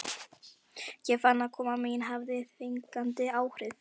Ég fann að koma mín hafði þvingandi áhrif.